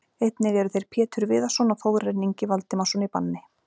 Einnig eru þeir Pétur Viðarsson og Þórarinn Ingi Valdimarsson í banni.